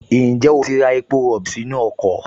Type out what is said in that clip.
Ǹjẹ́ o ti ra epo rọ̀bì sínú ọkọ̀?